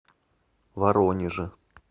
воронеже